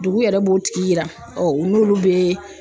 Dugu yɛrɛ b'o tigi yira u n'olu bɛ